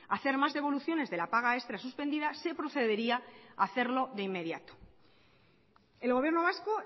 hacer más devoluciones de la paga extra suspendida se procedería hacerlo de inmediato el gobierno vasco